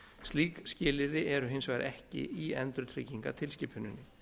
slík skilyrði eru hins vegar ekki í endurtryggingatilskipuninni